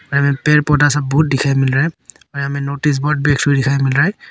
पेड़ पौधा सब बहुत दिखाई मिल रहा है यहां में नोटिस बोर्ड भी एक साइड में दिखाई मिल रहा है।